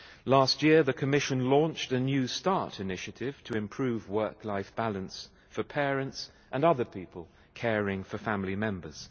Last year, the Commission launched a new start' initiative to improve work-life balance for parents and other people caring for family members.